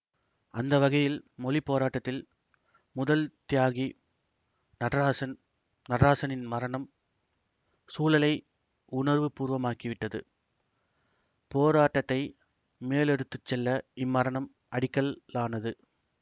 அந்தவகையில் மொழி போராட்டத்தில் முதல் தியாகி நடராசன் நடராசனின் மரணம் சூழலை உணர்வு பூர்வமாக்கிவிட்டது போராட்டத்தை மேலெடுத்துச்செல்ல இம்மரணம் அடிக்கல்லானது